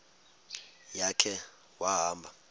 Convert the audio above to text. ya khe wahamba